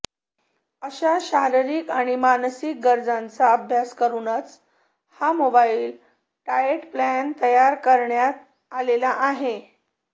अशा शारीरीक आणि मानसिक गरजांचा अभ्यास करुनच हा मोबाइल डायेट प्लॅन तयार करण्यात आलेला आहे